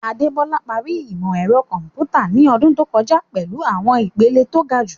Adebola parí ìmọ̀ ẹ̀rọ kọ̀m̀pútà ní ọdún tó kọjá pẹ̀lú àwọn ìpele tó ga jùlọ.